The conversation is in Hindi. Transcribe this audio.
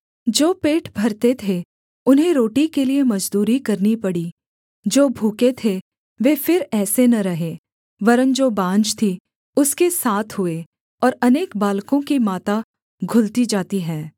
जो पेट भरते थे उन्हें रोटी के लिये मजदूरी करनी पड़ी जो भूखे थे वे फिर ऐसे न रहे वरन् जो बाँझ थी उसके सात हुए और अनेक बालकों की माता घुलती जाती है